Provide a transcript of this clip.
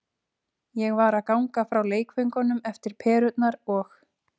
Ég var að ganga frá leikföngunum eftir perurnar og.